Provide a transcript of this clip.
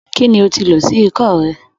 Kí ni o ti lò sí ikọ́ rẹ?